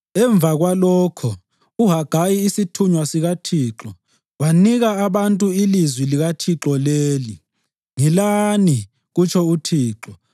Emva kwalokho, uHagayi isithunywa sikaThixo, wanika abantu ilizwi likaThixo leli: “Ngilani,” kutsho uThixo.